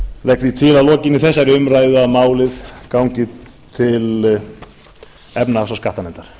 legg því til að lokinni þessari umræðu að málið gangi til efnahags og skattanefndar